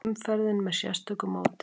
Umferðin með sérstöku móti